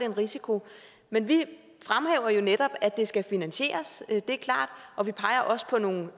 en risiko men vi fremhæver jo netop at det skal finansieres det er klart og vi peger også på nogle